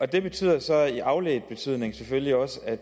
det betyder så i afledt betydning selvfølgelig også at